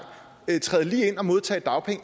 træde lige ind og modtage dagpenge